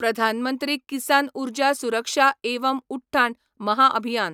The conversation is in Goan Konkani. प्रधान मंत्री किसान उर्जा सुरक्षा एवं उठ्ठान महाभियान